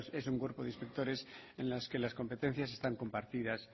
es un cuerpo de inspectores en las que las competencias están compartidas